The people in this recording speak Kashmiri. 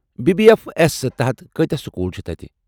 بی بی اٮ۪ف اٮ۪س تحت کٲتیاہ سکول چھِ تتہِ؟